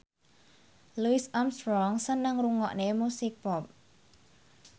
Louis Armstrong seneng ngrungokne musik pop